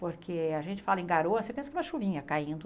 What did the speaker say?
Porque a gente fala em garoa, você pensa que é uma chuvinha caindo.